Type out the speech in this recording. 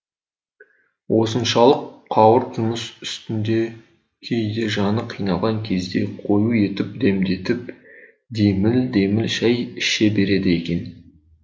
осыншалық қауырт жұмыс үстінде кейде жаны қиналған кезде қою етіп демдетіп деміл деміл шай іше береді екен